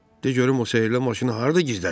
De görüm o sehrli maşını harda gizlədir?